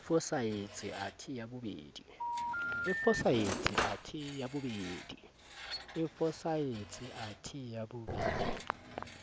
e fosahetse athe ya bobedi